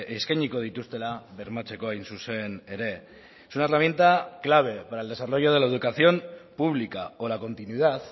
eskainiko dituztela bermatzeko hain zuzen ere es una herramienta clave para el desarrollo de la educación pública o la continuidad